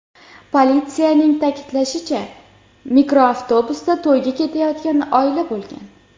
Politsiyaning ta’kidlashicha, mikroavtobusda to‘yga ketayotgan oila bo‘lgan.